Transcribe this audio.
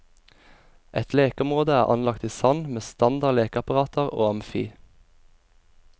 Et lekeområde er anlagt i sand med standard lekeapparater og amfi.